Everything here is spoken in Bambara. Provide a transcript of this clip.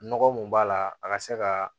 Nɔgɔ mun b'a la a ka se ka